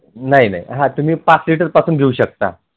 नाही नाही पाच liter पासून घेऊ शकता